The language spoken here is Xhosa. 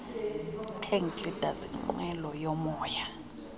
hang gliders inqwelomoya